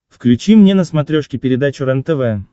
включи мне на смотрешке передачу рентв